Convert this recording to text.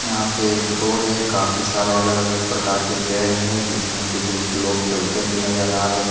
यहां पे एक रोड है काफी सारे अलग अलग प्रकार के पेड़ हैं जिस में कुछ लोग चलते हुए नजर आ रहे हैं।